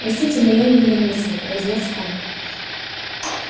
простите моё недомыслие произнёс он